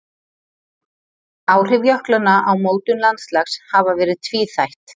Áhrif jöklanna á mótun landslags hafa verið tvíþætt.